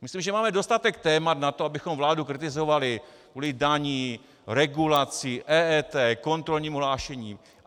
Myslím, že máme dostatek témat na to, abychom vládu kritizovali kvůli daním, regulaci, EET, kontrolnímu hlášení.